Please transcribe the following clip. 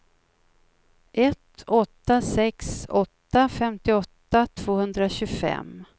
ett åtta sex åtta femtioåtta tvåhundratjugofem